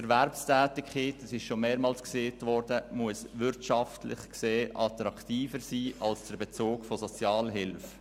Die Erwerbstätigkeit muss wirtschaftlich gesehen attraktiver sein als der Bezug von Sozialhilfe.